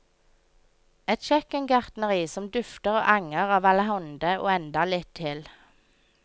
Et kjøkkengartneri som dufter og anger av allehånde og enda litt til.